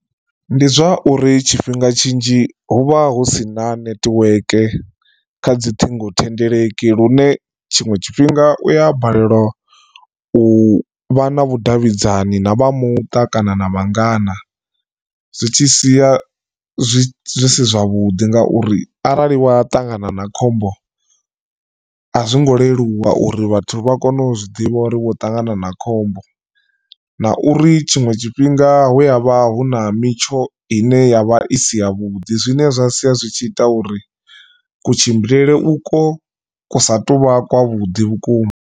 Ndi zwa uri tshifhinga tshinzhi hu vha hu sina netiweke kha dzi ṱhingo thendeleki lune tshiṅwe tshifhinga u ya balelwa u vha na vhudavhidzani na vha muṱa kana na vhangana. Zwi tshi sia zwi si zwavhuḓi ngauri arali wa ṱangana na khombo a zwo ngo leluwa uri vhathu vha kone u zwiḓivha uri wo ṱangana na khombo na uri tshiṅwe tshifhinga hu ya vha hu na mitsho ine yavha i si ya vhuḓi zwine zwa sia zwi tshi ita uri kutshimbilele u kwo kusa tuvha kwavhuḓi vhukuma.